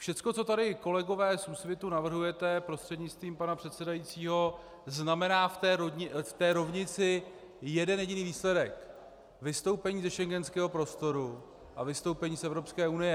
Všecko, co tady, kolegové z Úsvitu, navrhujete, prostřednictvím pana předsedajícího, znamená v té rovnici jeden jediný výsledek: vystoupení ze schengenského prostoru a vystoupení z Evropské unie.